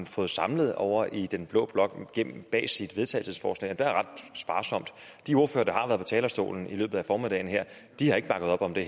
fået samlet ovre i den blå blok bag sit vedtagelsesforslag det er ret sparsomt de ordførere talerstolen i løbet af formiddagen her har ikke bakket op om det